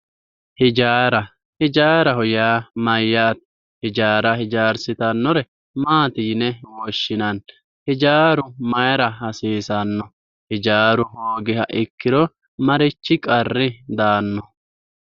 Hijaara, hijaaraho yaa mayate ,hijaara hijaarsittanore maati yinne woshshinanni ,hijaaru mayra hasiisano, hijaaru hoogiro marchi qarri daano?